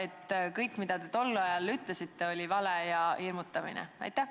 Kas kõik, mida te tol ajal ütlesite, oli vale ja hirmutamine?